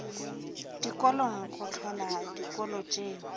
dikolong go hlola dikolo tšeo